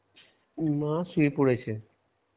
মা শুয়ে পড়েছে.